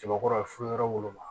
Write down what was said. Jabakɔrɔ yɔrɔ ma